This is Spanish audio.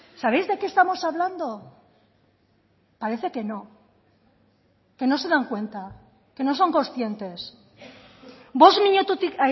sabéis de qué estamos hablando parece que no que no se dan cuenta que no son conscientes bost minututik